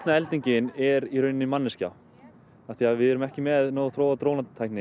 eldingin er í rauninni manneskja af því við erum ekki með nógu þróaða